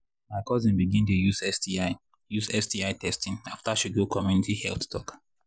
my cousin begin dey use sti use sti testing after she go community health talk.